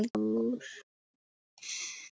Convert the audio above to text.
Þinn frændi, Svavar Dór.